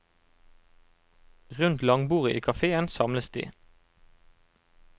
Rundt langbordet i kaféen samles de.